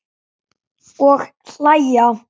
Og hlæja.